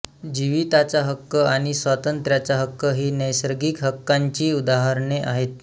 जीविताचा हक्क आणि स्वातंत्र्याचा हक्क ही नैसर्गिक हक्कांची उदाहरणे आहेत